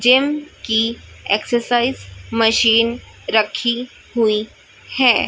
Gym की exercise machine रखी हुई है।